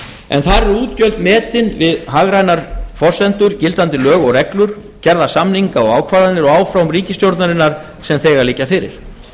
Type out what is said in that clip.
en þar eru útgjöld metin miðað við hagrænar forsendur gildandi lög og reglur gerða samninga og ákvarðanir og áform ríkisstjórnarinnar sem þegar liggja fyrir